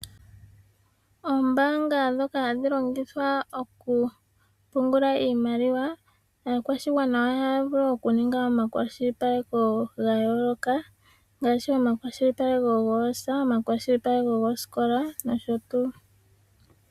Oombanga dhoka hadhi longithwa okupungula iimaliwa aakwashigwana ohaya vulu okuninga omakwashilipaleko gayooloka ngaashi omakwashilipaleko goosa, omakwashilipaleko goosikola nosho tuu.